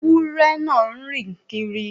Ẹwurẹ̀ náà ń rìn kírì